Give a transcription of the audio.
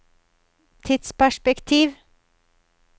tidsperspektiv